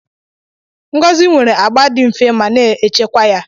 Ngozi nwere agba dị nfe ma na-echekwa ya.